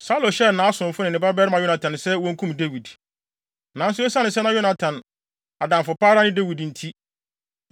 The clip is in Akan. Saulo hyɛɛ nʼasomfo ne ne babarima Yonatan sɛ wonkum Dawid. Nanso esiane sɛ na Yonatan adamfo pa ara ne Dawid nti,